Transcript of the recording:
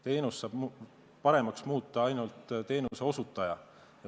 Teenust saab paremaks muuta ainult teenuseosutaja.